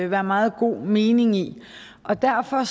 være meget god mening i derfor